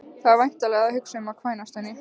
Þú ert væntanlega að hugsa um að kvænast henni